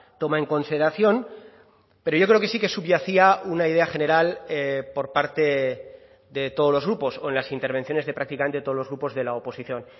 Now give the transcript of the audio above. toma en consideración pero yo creo que sí que subyacía una idea general por parte de todos los grupos o en las intervenciones de prácticamente todos los grupos de la oposición